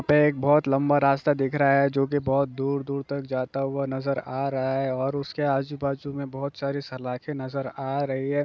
एक बहुत लंबा रास्ता दिख रहा है जो की बहुत दूर-दूर तक जाता हुआ नजर आ रहा है और उसके आजू-बाजू में बहुत सारे सलाखे नजर आ रही हैं।